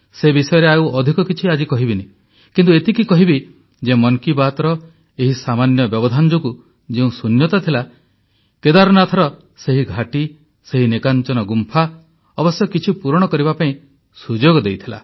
ସେ ବିଷୟରେ ଆଉ ଅଧିକ କିଛି ଆଜି କହିବିନି କିନ୍ତୁ ଏତିକି କହିବି ଯେ ମନ୍ କି ବାତ୍ର ଏହି ସାମାନ୍ୟ ବ୍ୟବଧାନ ଯୋଗୁଁ ଯେଉଁ ଶୂନ୍ୟତା ଥିଲା କେଦାରନାଥର ସେହି ଘାଟି ସେହି ନିକାଂଚନ ଗୁମ୍ଫା ଅବଶ୍ୟ କିଛି ପୂରଣ କରିବା ପାଇଁ ସୁଯୋଗ ଦେଇଥିଲା